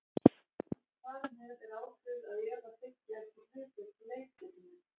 Þar með er ákveðið að Eva þiggi ekki hlutverk í leikritinu.